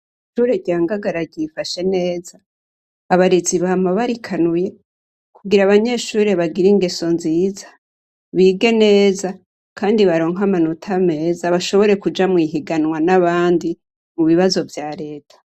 Ishure rya Ngangara ryifashe neza, abarezi bama barikanuye kugira abanyeshure bagire ingeso nziza, bige neza, kandi bagire amanota meza, bashobore kuja mw'ihiganwa n'abandi mu bibazo vya reta.